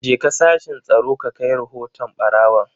Jeka sashin Tsaro ka kai rahoton barawon!